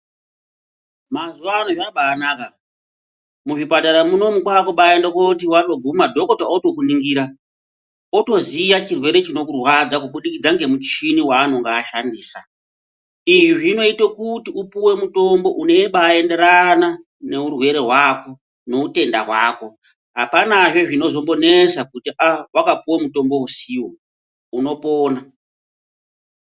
Mazuvano zvabanaka. Muzvipatara munomu kwakubaende koti wandoguma dhokota otokuningira. Otoziya chirwere chinokurwadza kubudikidza ngemuchini waanonga ashandisa. Izvi zvinoito kuti upuwe mutombo unobaenderana neurwere hwako neutenda hwako. Hapanazve zvinozombonesa kuti, ah vakapuwe mutombo usiwo. Unopona.